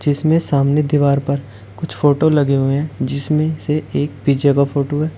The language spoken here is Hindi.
इसमें सामने दीवार पर कुछ फोटो लगे हुए हैं जिसमें से एक पिज़्ज़ा का फोटो है।